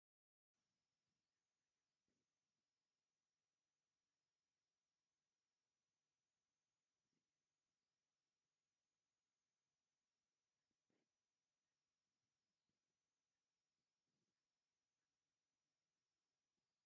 ኣብ ዕዳጋ ሓብቲ ሰበይቲ ነፀለኣ ኣብ መማንጥኣ ኣሲራ ፅላላ ዘርጊሓ ደርሆ ሒዛ ኣላ ሓደ ቀሺ እውን ኣብ ድሕሪኣ ኣሎ እቲ እንስሳ ኣብ ጎና ዘሎ እንታይ ይበሃል?